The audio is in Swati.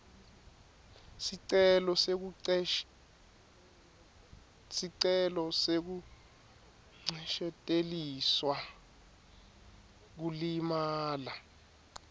sicelo sekuncesheteliselwa kulimala